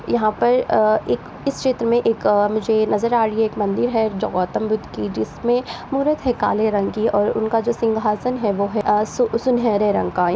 यहाँ पर अ एक इस क्षेत्र में एक अ मुझे नज़र आ रही एक मंदिर हैं जो गौतम बुद्ध की जिसमें मूरत है काले रंग की और उनका सिंघासन जो है वो है अ सु सुनहरे रंग का।